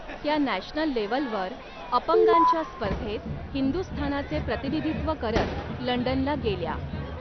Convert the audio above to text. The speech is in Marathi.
त्या नॅशनल लेव्हलवर अपंगांच्या स्पर्धेत हिंदुस्थानाचे प्रतिनिधित्व करत लंडनला गेल्या.